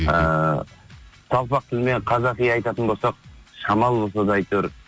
ыыы жалпақ тілмен қазақи айтатын болсақ шамалы болса да әйтеуір